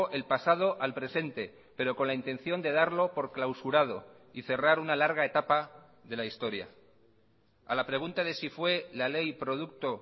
el pasado al presente pero con la intención de darlo por clausurado y cerrar una larga etapa de la historia a la pregunta de si fue la ley producto